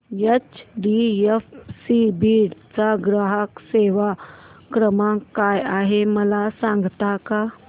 HDFC Beed चा ग्राहक सेवा क्रमांक काय आहे मला सांगता का